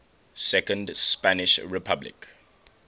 second spanish republic